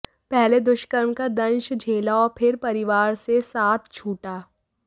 पहले दुष्कर्म का दंश झेला और फिर परिवार से साथ छूटा